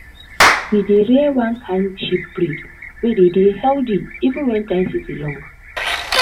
we dey rear one kind sheep breed wey dey dey healthy even when dry season long.